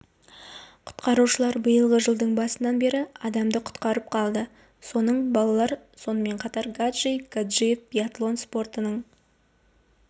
құтқарушылар биылғы жылдың басынан бері адамды құтқарып қалды соның балалар сонымен қатар гаджи гаджиев биатлон спортының